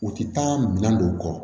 U ti taa minɛn don u kɔ